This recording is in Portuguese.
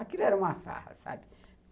Aquilo era uma farra, sabe?